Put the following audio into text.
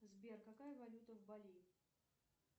сбер какая валюта в бали